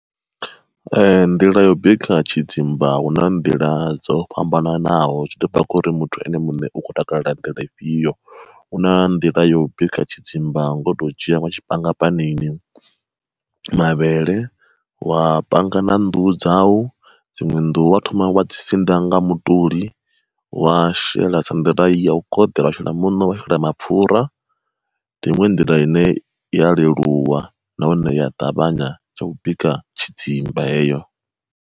Ee nḓila yo bika tshidzimba hu na nḓila dzo fhambananaho zwi to bva khori muthu ene muṋe u khou takalela nḓila ifhio, hu na nḓila yo bika tshidzimba ngo to dzhia wa tshi panga panini, mavhele wa panga na nnḓu dzau, dziṅwe nnḓu wa thoma wa dzi siḓa nga mutoli, wa shela sa nḓila ya u koḓela wa shela muṋo wa shela na mapfura ndi iṅwe nḓila ine ya leluwa nahone ya ṱavhanya ya u bika tshidzimba heyo.